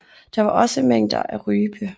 Der var også mængder af rype